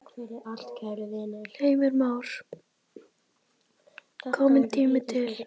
Heimir Már: Kominn tími til?